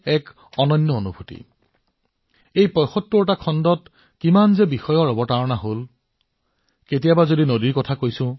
এই ৭৫ টা খণ্ডৰ সময়ছোৱাত কিমানটা বিষয় আমি অতিক্ৰম কৰিছো